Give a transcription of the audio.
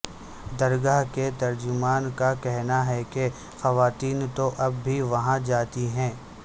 درگاہ کے ترجمان کا کہنا ہے کہ خواتین تو اب بھی وہاں جاتی ہیں